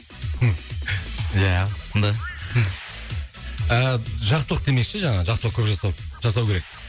мхм ия да ыыы жақсылық демекші жаңағы жақсылық көп жасау жасау керек